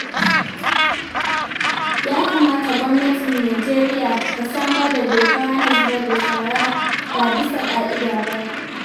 Ya kamata gwamnatin Najeriya ta samar da dokar hana zubar da shara ba bisa ka'ida ba.